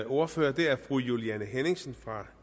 ordfører fru juliane henningsen fra